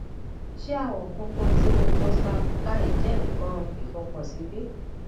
ṣe awọ funfun ti mucosa buccal jẹ nkàn ifokan si bi